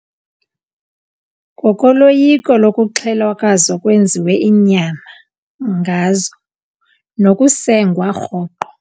Ngokoloyiko lokuxhelwa kwazo kwenziwe inyama ngazo nokusengwa rhoqo.